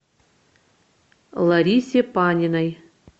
ларисе паниной